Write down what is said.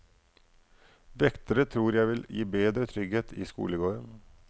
Vektere tror jeg vil gi bedre trygghet i skolegården.